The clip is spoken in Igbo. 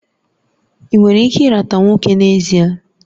Ị nwere ike ịrata nwoke n'ezie?